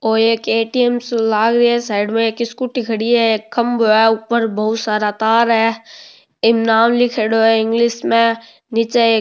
ओ एक ए.टी.एम. सो लाग रियो है साइड में एक स्कूटी खड़ी है एक खम्भों है ऊपर बहोत सारा तार है इम नाम लीखेड़ो है इंगलिश में नीचे एक --